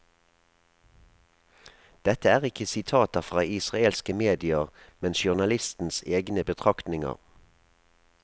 Dette er ikke sitater fra israelske medier, men journalistens egne betraktninger.